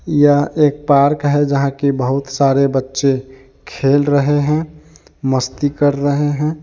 यह एक पार्क है जहा की बहुत सारे बच्चे खेल रहे है मस्ती कर रहे हैं।